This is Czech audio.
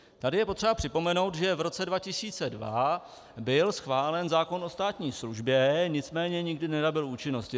Tady je potřeba připomenout, že v roce 2002 byl schválen zákon o státní službě, nicméně nikdy nenabyl účinnosti.